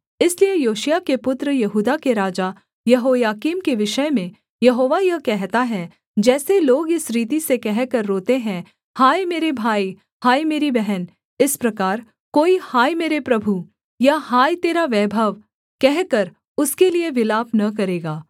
इसलिए योशिय्याह के पुत्र यहूदा के राजा यहोयाकीम के विषय में यहोवा यह कहता है जैसे लोग इस रीति से कहकर रोते हैं हाय मेरे भाई हाय मेरी बहन इस प्रकार कोई हाय मेरे प्रभु या हाय तेरा वैभव कहकर उसके लिये विलाप न करेगा